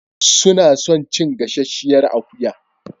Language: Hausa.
Suna son cin gasasshiyar akuya.